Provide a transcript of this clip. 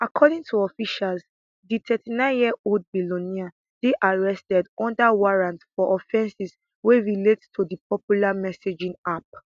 according to officials di thirty nine yearold billionaire dey arrested under warrant for offences wey relate to di popular messaging app